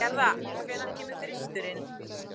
Gerða, hvenær kemur þristurinn?